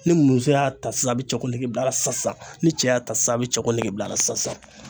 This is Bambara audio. Ni muso y'a ta sisan a bɛ cɛ ko nege bila sisan ni cɛ y'a ta sisan a bɛ cɛko nɛgɛ bila sisan